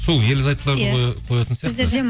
сол ерлі зайыптыларды қоятын